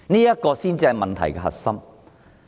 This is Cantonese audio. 這才是問題的核心。